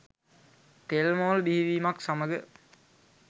තෙල් මෝල් බිහිවීමත් සමග